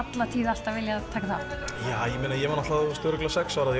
alltaf viljað taka þátt já ég meina ég var örugglega sex ára